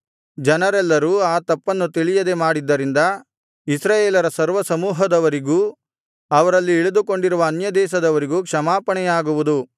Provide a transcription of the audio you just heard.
ಜನರೆಲ್ಲರೂ ಆ ತಪ್ಪನ್ನು ತಿಳಿಯದೆ ಮಾಡಿದ್ದರಿಂದ ಇಸ್ರಾಯೇಲರ ಸರ್ವಸಮೂಹದವರಿಗೂ ಅವರಲ್ಲಿ ಇಳಿದುಕೊಂಡಿರುವ ಅನ್ಯದೇಶದವರಿಗೂ ಕ್ಷಮಾಪಣೆಯಾಗುವುದು